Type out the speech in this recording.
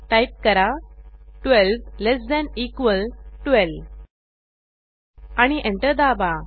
type करा 12 less than equal 12 आणि enter दाबा